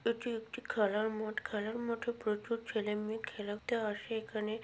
এটি একটি খেলার মাঠ খেলার মাঠে প্রচুর ছেলে-মেয়ে খেলতে আসে এখানে।